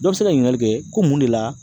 Dɔ be se ka ɲininkali kɛ ko mun de la